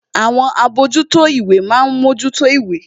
Àwọn àbójútó ìwé ma ń mójútó ìwé